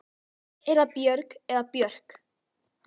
Er það Björg eða Björk?